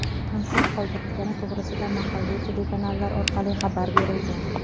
Konsert qoldirilgani to‘g‘risida mahalliy telekanallar orqali xabar berilgan.